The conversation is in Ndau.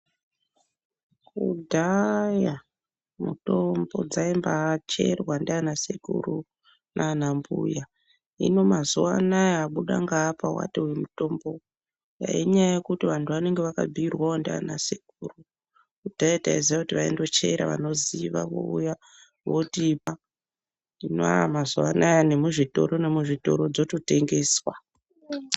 Kudhaayaa, mitombo dzaimbaacherwa ndiana sekuru nanambuya, hino mazuwa anaa wabuda ngaapa wati uyu mutombo, dai inyaya yekuti vanthu vanenge vakabhiirwawo ndiana sekuru, kudhaya taiziya kuti vanondochera vanoziva vouya votipa, hino mazuwa anaa nemuzvitoro nemuzvitoro dzotengeswa.